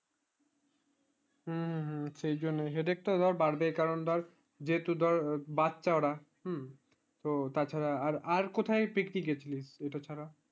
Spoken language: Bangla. হম হম হম সেই জন্যে headache তা ধর বাড়বে কারণ ধর যে তুই ধর বাচ্চা ওরা হম তো তার ছাড়া আর কোথায় picnic এ গেছিলিস এইটা ছাড়া